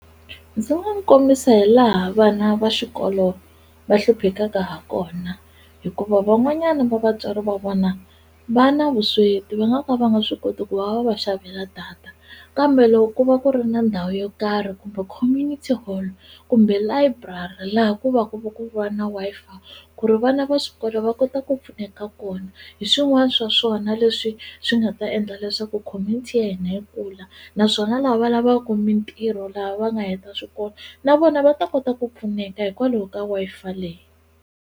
Ndzi nga n'wu kombisa hi laha vana va xikolo va hluphekaka ha kona hikuva van'wanyani va vatswari va vona va na vusweti va nga ka va nga swi koti ku va va va xavela data kambe loko ku va ku ri na ndhawu yo karhi kumbe community hall kumbe layiburari laha ku va ku va na Wi-Fi ku ri vana va swikolo va kota ku pfuneka kona hi swin'wana swa swona leswi swi nga ta endla leswaku community ya hina yi kula naswona lava lavaku mintirho laha va nga heta swikolo na vona va ta kota ku pfuneka hikwalaho ka Wi-Fi leyi.